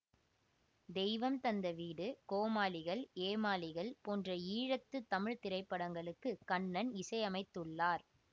தெய்வம் தந்த வீடு கோமாளிகள் ஏமாளிகள் போன்ற ஈழத்து தமிழ் திரைப்படங்களுக்கு கண்ணன் இசையமைத்துள்ளார்